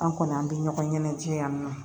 An kɔni an bɛ ɲɔgɔn ɲɛnajɛ yan nɔ